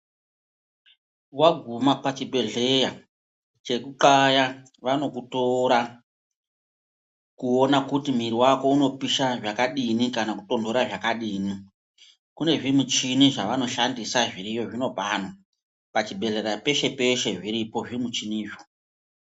Waguma pachibhedhleya, chekuxaya vanokutora kuona kuti mwiri wako unopisha zvakadini kana kutonhora zvakadini. Kune zvimichini zvevanoshandisa zviriyo zvinopano. Pachibhedhlera peshe-peshe, zviriyo zvimichinizvo.